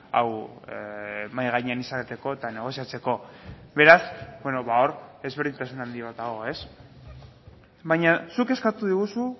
hau mahai gainean izateko eta negoziatzeko beraz hor ezberdintasun handi bat dago ez baina zuk eskatu diguzu